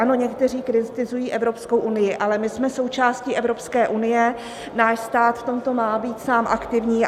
Ano, někteří kritizují Evropskou unii, ale my jsme součástí Evropské unie, náš stát v tomto má být sám aktivní.